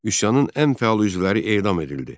Üsyanın ən fəal üzvləri edam edildi.